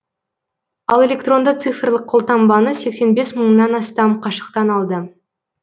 ал электронды цифрлық колтаңбаны сексен бес мыңнан астам қашықтан алды